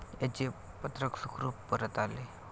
त्याचे पत्रक सुखरूप परत आले.